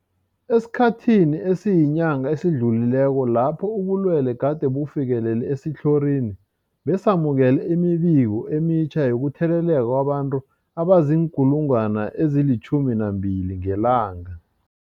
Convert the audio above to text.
Esikhathini esiyinyanga esidlulileko lapho ubulwele gade bufikelele esitlhorini, besamukela imibiko emitjha yokutheleleka kwabantu abazii-12 000 ngelanga.